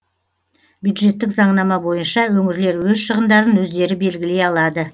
бюджеттік заңнама бойынша өңірлер өз шығындарын өздері белгілей алады